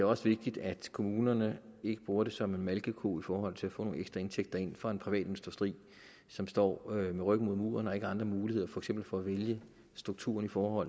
også vigtigt at kommunerne ikke bruger det som en malkeko i forhold til at få nogle ekstra indtægter ind fra en privat industri som står med ryggen mod muren og som ikke har andre muligheder for eksempel for at vælge strukturen for